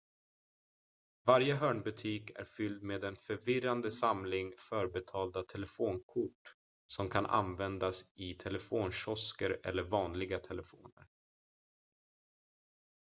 varje hörnbutik är fylld med en förvirrande samling förbetalda telefonkort som kan användas i telefonkiosker eller vanliga telefoner